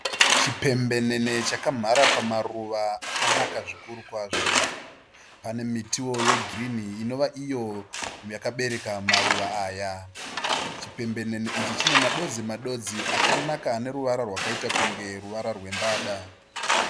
Chipembenene chakamhara pamaruva akanaka zvikuru kwazvo. Pane mitiwo yegirini inova iyo yakabereka maruva aya. Chipembenene ichi chine madodzi madodzi akanaka ane ruvara rwakaita kunge ruvara rwembada.